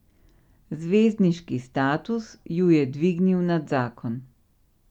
Zvezdniški status ju je dvignil nad zakon.